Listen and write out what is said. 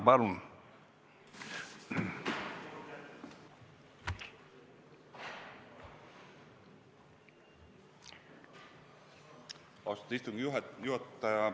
Austatud istungi juhataja!